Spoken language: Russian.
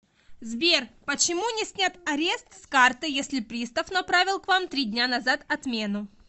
сбер почему не снят арест с карты если пристав направил к вам три дня назад отмену